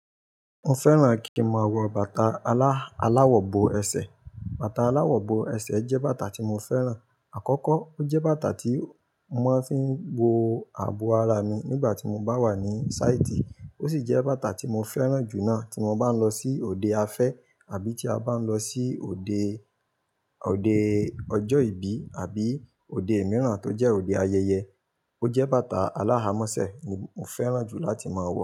Mo fẹ́ràn kí n máa wọ bàtà, ala, alàwọ̀-bó ẹsẹ̀. Bàtà alàwọ̀-bó ẹsẹ̀ jẹ́ bàtà tí mo fẹ́ràn. Àkọ́kọ́, ó jẹ́ bàtà tí mo máa fi ń bo ààbò ara mi nígbà tí mo bá wà ní sáìtì, ó sì jẹ́ bàtà tí mo fẹ́ràn jù náà tí mo bá ń lọ sí òde afẹ́ àbí tí a bá ń lọ sí òde, òde ọjọ́ ìbí àbí òde mìíràn tó jẹ́ òde ayẹyẹ. Ó jẹ́ bàtà alá a mọ́sẹ̀ ní mo fẹ́ràn jù láti máa wọ̀